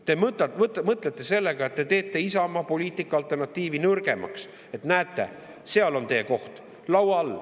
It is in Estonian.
Te mõtlete, et te teete sellega Isamaa alternatiivse poliitika nõrgemaks: "Näete, seal on teie koht, laua all.